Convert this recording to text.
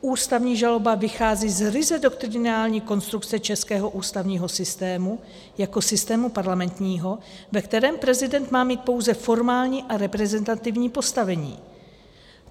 Ústavní žaloba vychází z ryze doktrinální konstrukce českého ústavního systému jako systému parlamentního, ve kterém prezident má mít pouze formální a reprezentativní postavení.